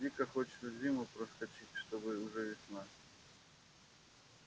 дико хочется зиму проскочить и чтобы уже весна